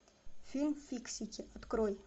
фильм фиксики открой